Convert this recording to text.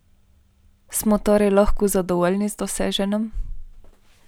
Smo torej lahko zadovoljni z doseženim?